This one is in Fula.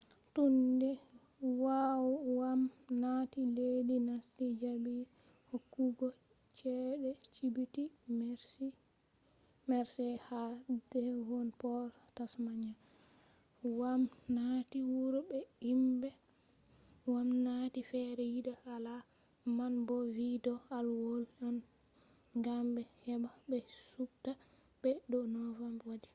tun de gwamnati leddi nasti jabi hokkugo chede sibiti mersey ha devonport tasmania gwamnati wuro be himbe gwamnati fere yida hala man bo vi do alwol on gam be heba be subta be to november wadi